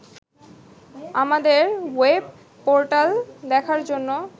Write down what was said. আমাদের ওয়েবপোর্টাল দেখার জন্য